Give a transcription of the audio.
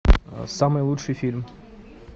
самый лучший фильм